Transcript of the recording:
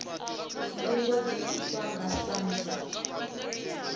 ndingo dzi itwa nga samsa